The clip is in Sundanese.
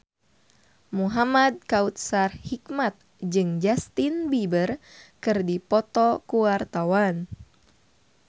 Muhamad Kautsar Hikmat jeung Justin Beiber keur dipoto ku wartawan